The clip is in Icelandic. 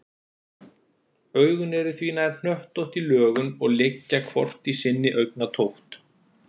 Augun eru því nær hnöttótt í lögun og liggja hvort í sinni augnatótt.